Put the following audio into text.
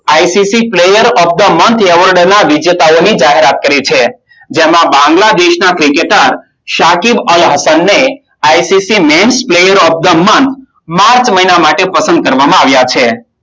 ICC player of the month ના વિજેતાઓની જાહેરાત કરી છે. જેમાં બાંગ્લાદેશના ક્રિકેટર શાખી અલહસમને ICC men player of the month March મહિના માટે પસંદ કરવામાં આવ્યા છે.